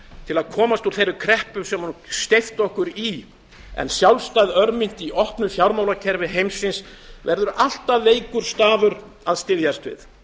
til að komast úr þeirri kreppu sem hún steypti okkur í en sjálfstæð örmynt í opnu fjármálakerfi heimsins verður alltaf veikur stafur að styðjast við